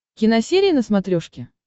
киносерия на смотрешке